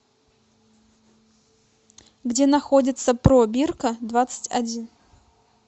где находится пробирка двадцать один